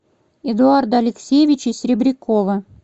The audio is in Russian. эдуарда алексеевича серебрякова